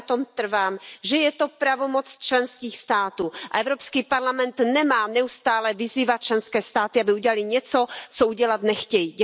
A já na tom trvám, že je to pravomoc členských států, a Evropský parlament nemá neustále vyzývat členské státy, aby udělaly něco, co udělat nechtějí.